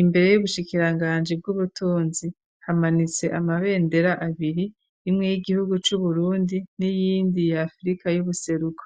Imbere y'ubushikiranganji bw'ubutunzi hamanitse amabendera abiri imwe y'igihugu c' Uburundi n'iyindi ya Afrika y'ubuseruko,